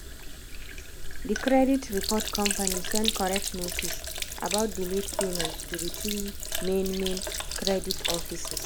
the credit report company send correct notice about the late payment to the three main main credit offices.